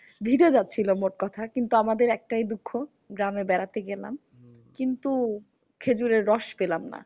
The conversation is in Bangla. ভিজে যাচ্ছিলো মোট কথা। কিন্তু আমাদের একটাই দুঃখ গ্রামে বেড়াতে গেলাম। কিন্তু খেজুরের রস পেলাম না।